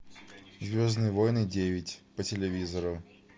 звездные войны девять по телевизору